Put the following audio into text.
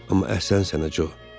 Amma əhsən sənə, Co.